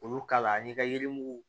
Olu kala a ni ka yirimugu